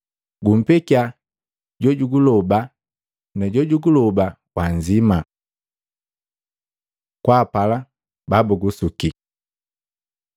Gumpekiya jojuguloba, na jojuguloba wannzima.” Kwaapala babugusuki Luka 6:27-28, 32-36